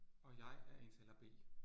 Og jeg er indtaler B